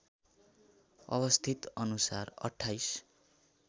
अवस्थित अनुसार २८